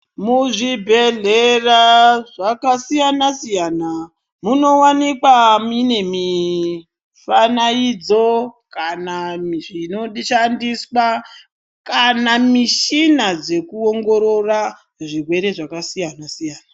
Muzvibhedhlera zvakasiyana-siyana, munowanikwa mine mifanaidzo kana mizvinoshandiswa, kana mishina dzekuongorora zvirwere zvakasiyana-siyana.